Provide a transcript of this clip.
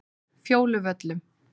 Fjóluvöllum